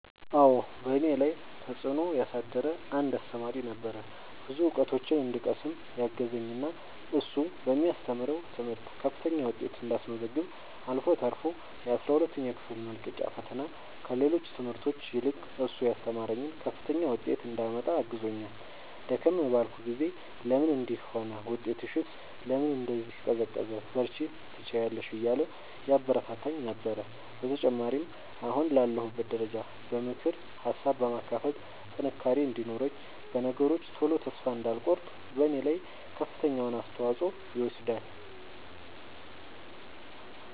አዎ በእኔ ላይ ተፅእኖ ያሳደረ አንድ አሰተማሪ ነበረ። ብዙ እውቀቶችን እንድቀስም ያገዘኝ እና እሱ በሚያስተምረው ትምህርት ከፍተኛ ውጤት እንዳስመዘግብ አልፎ ተርፎ የአስራ ሁለተኛ ክፍል መልቀቂያ ፈተና ከሌሎች ትምህርቶች ይልቅ እሱ ያስተማረኝን ከፍተኛ ውጤት እንዳመጣ አግዞኛል። ደከም ባልኩ ጊዜ ለምን እንዲህ ሆነ ውጤትሽስ ለምን እንዲህ ቀዘቀዘ በርቺ ትችያለሽ እያለ ያበረታታኝ ነበረ። በተጨማሪም አሁን ላለሁበት ደረጃ በምክር ሀሳብ በማካፈል ጥንካሬ እንዲኖረኝ በነገሮች ቶሎ ተስፋ እንዳልቆርጥ በኔ ላይ ከፍተኛውን አስተዋፅኦ ይወስዳል።